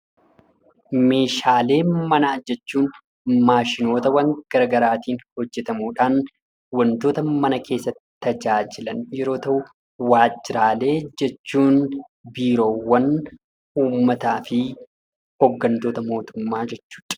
Meeshaalee manaa jechun maashinoota garaa garaatiin hojjetamuudhaan mana keessatti kan itti tajaajilaman yammuu ta'u; waajjiraalee jechuun immoo biirowwan, uummataa fi hoggantoota mootummaa jechuu dha.